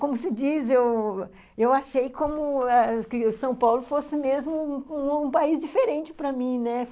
Como se diz, eu eu achei ãh... que São Paulo fosse mesmo um país diferente para mim, né?